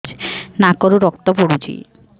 ନାକରୁ ରକ୍ତ ପଡୁଛି